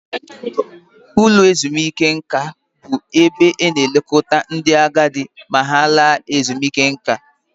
Ụlọ ezumike nka bụ ebe a na-elekọta ndị agadi ma ha laa ezumike nká